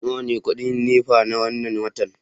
nawa ne kudin NEPA na wannan watan